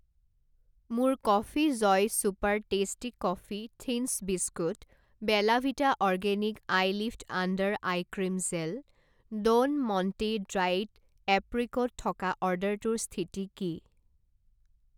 মোৰ coffee joy super tasty coffee thins biscuit, Bella Vita organic eyelift under eye cream gel, Don Monte dried apricot থকা অৰ্ডাৰটোৰ স্থিতি কি?